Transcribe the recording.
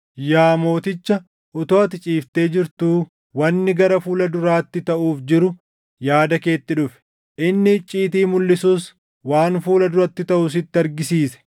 “Yaa mooticha utuu ati ciiftee jirtuu wanni gara fuula duraatti taʼuuf jiru yaada keetti dhufe; inni icciitii mulʼisus waan fuula duratti taʼu sitti argisiise.